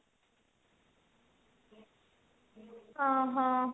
ଓ ହୋ